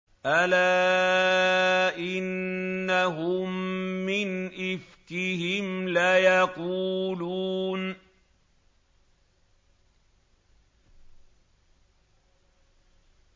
أَلَا إِنَّهُم مِّنْ إِفْكِهِمْ لَيَقُولُونَ